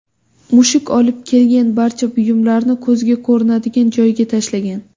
Mushuk olib kelgan barcha buyumlarni ko‘zga ko‘rinadigan joyga tashlagan.